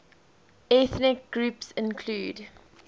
ethnic groups include